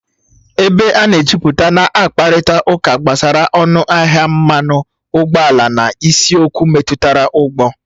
Ebe a na-ejuputa na-akparịta ụka gbasara ọnụ ahịa mmanụ ụgbọala na isiokwu metụtara ụgbọ